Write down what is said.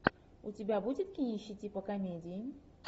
у тебя будет кинище типа комедии